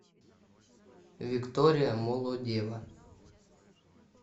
виктория молодева